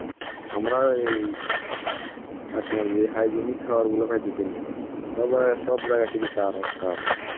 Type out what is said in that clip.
আমরা এই আপনার যে hygienic খাবার গুলো পাইতেছি না. স~ সব জায়গায় শুধু সার আর সার.